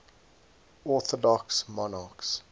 orthodox monarchs